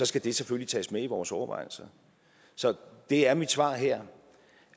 skal det selvfølgelig tages med i vores overvejelser så det er mit svar her